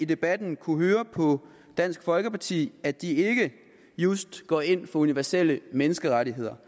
debatten kunnet høre på dansk folkeparti at de ikke just går ind for universelle menneskerettigheder